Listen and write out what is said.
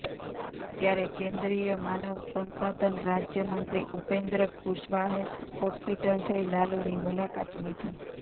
ત્યારે કેદ્રીય માનવ સંસાધન રાજ્યમંત્રી ઉપેદ્ર કુશવાહે હોસ્પિટલ જઈ લાલુની મુલાકાત લીધી